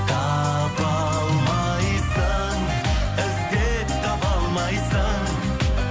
таба алмайсың іздеп таба алмайсың